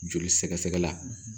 Joli sɛgɛ sɛgɛ la